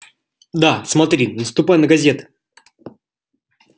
да смотри наступай на газеты